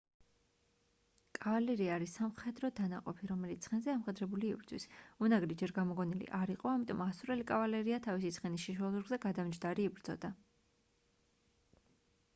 კავალერია არის სამხედრო დანაყოფი რომელიც ცხენზე ამხედრებული იბრძვის უნაგირი ჯერ გამოგონილი არ იყო ამიტომ ასურელი კავალერია თავისი ცხენის შიშველ ზურგზე გადამჯდარი იბრძოდა